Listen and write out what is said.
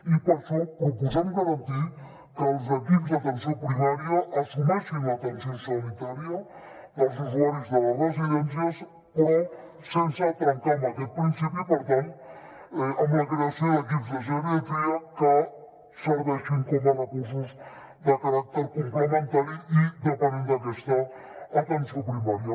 i per això proposem garantir que els equips d’atenció primària assumeixin l’atenció sanitària dels usuaris de les residències però sense trencar amb aquest principi i per tant amb la creació d’equips de geriatria que serveixin com a recursos de caràcter complementari i dependent d’aquesta atenció primària